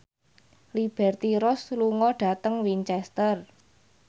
Liberty Ross lunga dhateng Winchester